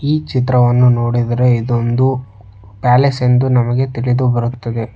ಈ ಚಿತ್ರವನ್ನು ನೋಡಿದ್ರೆ ಇದೊಂದು ಪ್ಯಾಲೇಸ್ ಎಂದು ನಮಗೆ ತಿಳಿದುಬರುತ್ತದೆ.